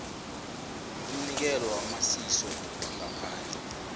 umnikelo wamasiso wangaphandle